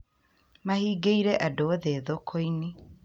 Mahingĩire andu othe thoko-inĩ